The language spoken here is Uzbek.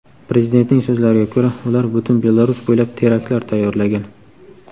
Prezidentning so‘zlariga ko‘ra, ular butun Belarus bo‘ylab teraktlar tayyorlagan.